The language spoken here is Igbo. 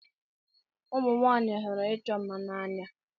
Ụmụ nwanyị hụrụ ịchọ mma n'anya.